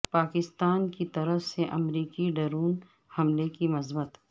پاکستان کی طرف سے امریکی ڈرون حملے کی مذمت